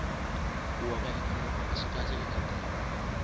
ku wa ka ikhonomi aswi kahle eka tiko